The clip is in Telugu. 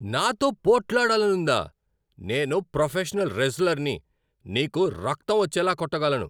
నాతో పోట్లాడాలనుందా? నేను ప్రొఫెషనల్ రెజ్లర్ని! నీకు రక్తం వచ్చేలా కొట్టగలను.